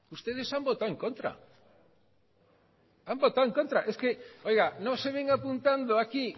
ustedes han votado en contra es que oiga no se venga apuntando aquí